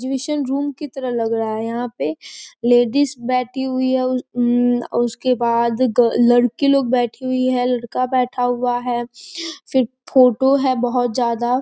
room की तरह लग रहा हैं यहाँ पे लेडीज बैठी हुई है उं उसके बाद ग लड़की लोग बैठी हुई हैं लड़का बैठा हुआ है फिर फ़ोटो है बोहोत ज़्यादा |